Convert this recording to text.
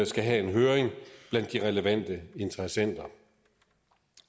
skal have en høring blandt de relevante interessenter